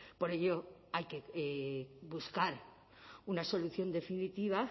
por ello hay que buscar una solución definitiva